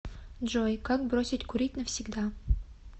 джой как бросить курить навсегда